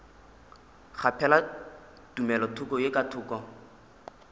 kgaphela tumelothoko ye ka thoko